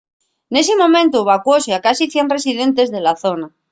nesi momentu evacuóse a casi 100 residentes de la zona